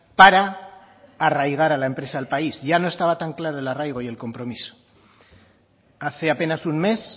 para arraigar la empresa al país ya no estaba tan claro el arraigo y el compromiso hace apenas un mes